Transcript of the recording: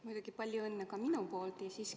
Muidugi palju õnne ka minu poolt!